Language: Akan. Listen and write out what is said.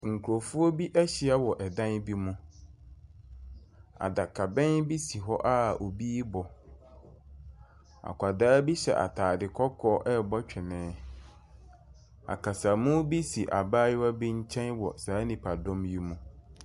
Nkurɔfoɔ bi ahyia wɔ dan bi mu. Adakabɛn bi si hɔ a obi rebɔ. Akwadaa bi hyɛ atade kɔkɔɔ rebɔ twene. Akasamu bi si abayewa bi nkyɛn wɔ saa nnipadɔm yi mu.